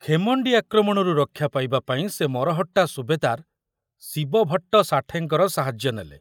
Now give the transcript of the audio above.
ଖେମଣ୍ଡି ଆକ୍ରମଣରୁ ରକ୍ଷା ପାଇବା ପାଇଁ ସେ ମରହଟ୍ଟା ସୁବେଦାର ଶିବଭଟ୍ଟ ସାଠେଙ୍କର ସାହାଯ୍ୟ ନେଲେ।